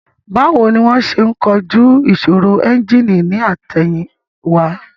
Báwo ni wón ṣe ń kojú ìṣòro ẹ́ńjìnì ní àtẹ̀yìn wá